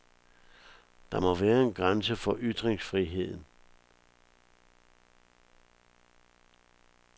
Der må være en grænse for ytringsfriheden.